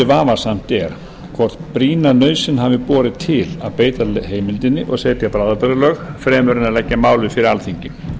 vafasamt er hvort brýna nauðsyn hafi borið til að beita heimildinni og setja bráðabirgðalög fremur en að leggja málið fyrir alþingi